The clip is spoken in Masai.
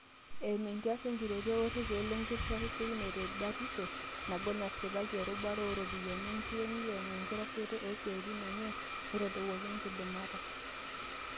Eimu enkias enkitoria o rekei lenkitashekino e batisho nagol nasipaki erubata o ropiyiani enkiyengiyeng enkitasheito o siatin enye neitadowuoki nkidimat.